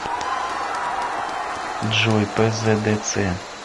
джой пздц